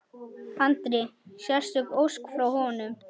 Andri: Sérstök ósk frá honum?